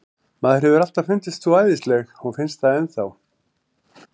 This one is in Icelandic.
Mér hefur alltaf fundist þú æðisleg og finnst það enn þá.